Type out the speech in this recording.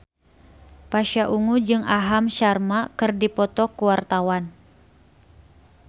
Pasha Ungu jeung Aham Sharma keur dipoto ku wartawan